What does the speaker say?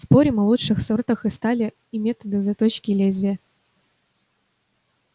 спорим о лучших сортах стали и методах заточки лезвия